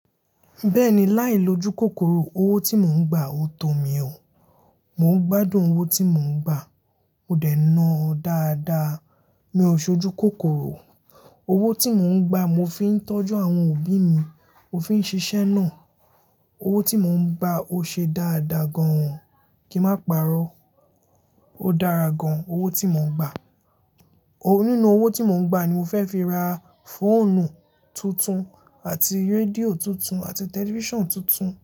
Bẹ́ẹ̀ni, láì lojú kòkòrò owó tí mò ń gbà o tọ́ mi ó. Mò ń gbádùn owó tí mò ń gbà. Mo dẹ̀ ń ná a dáadáa. Mi ò sojú kòkòrò. Owó tí mò ń gbà mo fi ń tọ́jú àwọn òbí mi, mó fi ń ṣiṣẹ́ náà. Owó tí mò ń gbà o ṣe dáadáa gan-an. Kí má pa'rọ́. Ó dára gan-an owó tí mò ń gbà. Nínú owó tí mò ń gbà ni mo fẹ́ fi ra fóònù tuntun àti rédíò tuntun àti tẹlifíṣàn tuntun.